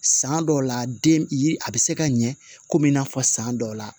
San dɔw la den yiri a bɛ se ka ɲɛ komi i n'a fɔ san dɔw la